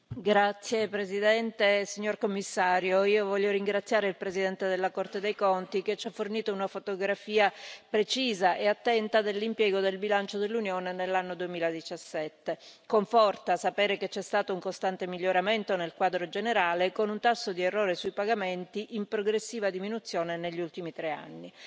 Signor Presidente, onorevoli colleghi, signor commissario, io voglio ringraziare il Presidente della Corte dei conti, che ci ha fornito una fotografia precisa e attenta dell'impiego del bilancio dell'Unione nell'anno 2017. Conforta sapere che c'è stato un costante miglioramento nel quadro generale, con un tasso di errore sui pagamenti in progressiva diminuzione negli ultimi tre anni.